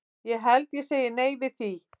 Ég held ég segi nei við því.